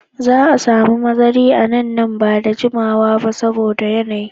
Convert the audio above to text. Za a samu Mazari a nan ,nan ba da jimawa ba saboda yanayi.